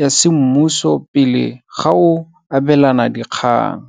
ya semmuso pele ga o abelana dikgang.